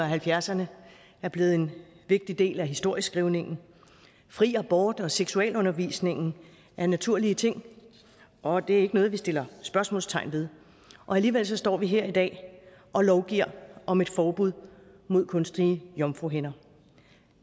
halvfjerdserne er blevet en vigtig del af historieskrivningen fri abort og seksualundervisningen er naturlige ting og det er ikke noget vi sætter spørgsmålstegn ved og alligevel står vi her i dag og lovgiver om et forbud mod kunstige jomfruhinder